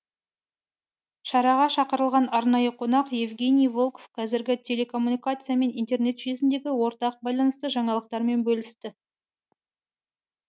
шараға шақырылған арнайы қонақ евгений волков қазіргі телекоммуникация мен интернет жүйесіндегі ортақ байланысты жаңалықтармен бөлісті